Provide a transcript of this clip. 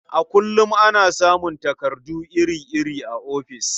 A kullum ana samun takardu iri-iri a ofis.